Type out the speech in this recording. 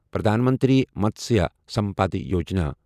Pradhan Mantri Matsya Sampada Yojana